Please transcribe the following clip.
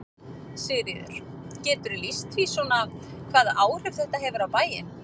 Sigríður: Geturðu lýst því svona hvaða áhrif þetta hefur á bæinn?